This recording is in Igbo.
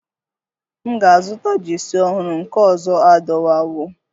M ga-azụta Jeesi ọhụrụ, nke ọzọ adọwawo